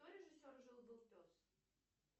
кто режиссер жил был пес